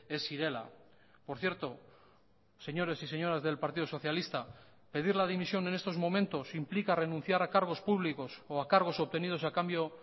ez zirela por cierto señores y señoras del partido socialista pedir la dimisión en estos momentos implica renunciar a cargos públicos o a cargos obtenidos a cambio